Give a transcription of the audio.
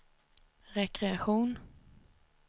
rekreation